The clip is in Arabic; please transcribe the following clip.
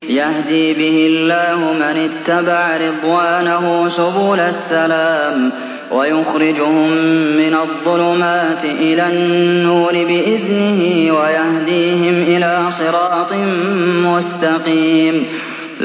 يَهْدِي بِهِ اللَّهُ مَنِ اتَّبَعَ رِضْوَانَهُ سُبُلَ السَّلَامِ وَيُخْرِجُهُم مِّنَ الظُّلُمَاتِ إِلَى النُّورِ بِإِذْنِهِ وَيَهْدِيهِمْ إِلَىٰ صِرَاطٍ مُّسْتَقِيمٍ